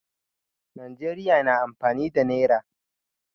Najeriya na amfani da naira.